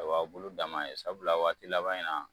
Aw'a bulu danma ye sabula waati laban in na